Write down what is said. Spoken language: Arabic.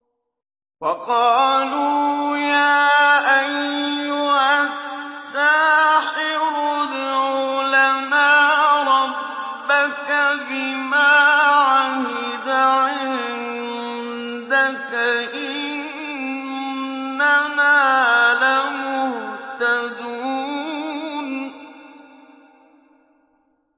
وَقَالُوا يَا أَيُّهَ السَّاحِرُ ادْعُ لَنَا رَبَّكَ بِمَا عَهِدَ عِندَكَ إِنَّنَا لَمُهْتَدُونَ